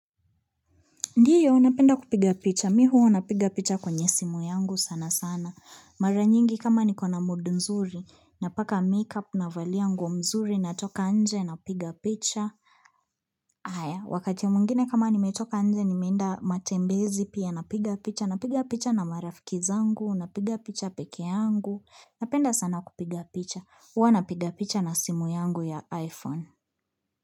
Ndio, napenda kupiga picha. Mimi huwa napiga picha kwenye simu yangu sana sana. Mara nyingi kama niko na mood nzuri, napaka make-up na valia mzuri, natoka nje, napiga picha. Aya, wakati mwengine kama nimetoka nje, nimeenda matembezi pia napiga picha. Napiga picha na marafiki zangu, napiga picha pekee yangu. Napenda sana kupiga picha. Huwa napiga picha na simu yangu ya iPhone.